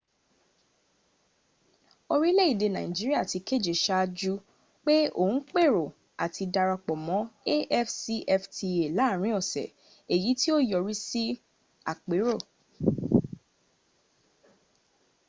orílèèdè nigeria ti kéde sáájú pé òun pèrò àti darapọ̀ mọ́ afcfta láàrin ọ̀sẹ̀ èyí tí yíó yọrí sí àpérò